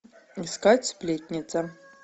искать сплетница